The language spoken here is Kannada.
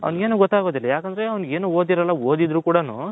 ಅವನಿಗೆ ಏನು ಗೊತ್ತಾಗೋದಿಲ್ಲ ಅವನು ಏನು ಓದಿರೋದಿಲ್ಲ ಓದಿದರು ಕೂಡ ನು